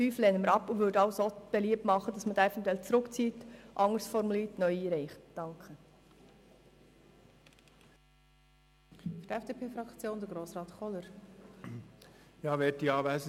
Die Ziffer 5 lehnen wir ab und machen beliebt, diese Ziffer zurückzuziehen oder sie, anders formuliert, neu einzureichen.